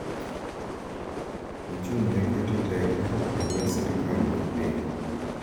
Ochung’ ne keto teko e lwet sirkal mar piny